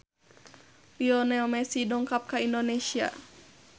Lionel Messi dongkap ka Indonesia